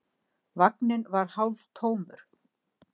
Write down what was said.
Vagninn var hálftómur.